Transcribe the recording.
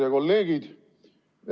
Head kolleegid!